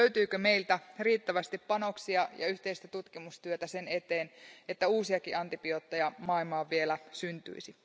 Löytyykö meiltä riittävästi panoksia ja yhteistä tutkimustyötä sen eteen, että uusiakin antibiootteja maailmaan vielä syntyisi?